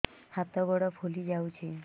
ହାତ ଗୋଡ଼ ଫୁଲି ଯାଉଛି